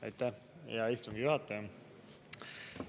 Aitäh, hea istungi juhataja!